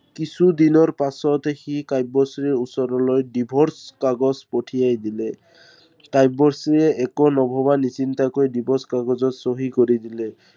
কিছুদিনৰ পিছত সি কাব্যশ্ৰীৰ ওচৰলৈ divorce কাগজ পঠিয়াই দিলে। কাব্যশ্ৰীয়ে একো নভৱা নিচিন্তাকৈ divorce কাগজত চহী কৰি দিলে।